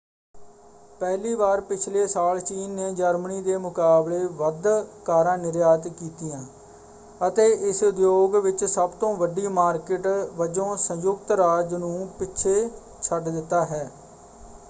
ਪਹਿਲੀ ਵਾਰ ਪਿਛਲੇ ਸਾਲ ਚੀਨ ਨੇ ਜਰਮਨੀ ਦੇ ਮੁਕਾਬਲੇ ਵੱਧ ਕਾਰਾਂ ਨਿਰਯਾਤ ਕੀਤੀਆਂ ਅਤੇ ਇਸ ਉਦਯੋਗ ਵਿੱਚ ਸਭ ਤੋਂ ਵੱਡੀ ਮਾਰਕਿਟ ਵਜੋਂ ਸੰਯੁਕਤ ਰਾਜ ਨੂੰ ਪਿੱਛੇ ਛੱਡ ਦਿੱਤਾ ਹੈ।